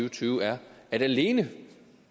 og tyve er at alene